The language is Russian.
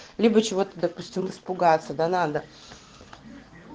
либо чего ты допустим испугаться да надо